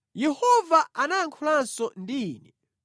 Yehova anayankhulanso ndi Ine;